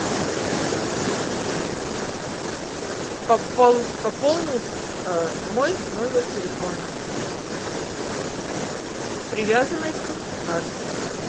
пополнить мой номер телефона привязанный к карте